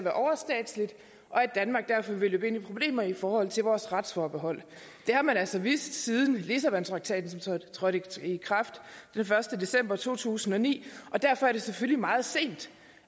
danmark derfor vil løbe ind i problemer i forhold til vores retsforbehold det har man altså vidst siden lissabontraktaten trådte i kraft den første december to tusind og ni og derfor er det selvfølgelig meget sent